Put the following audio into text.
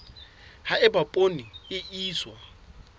ha eba poone e iswa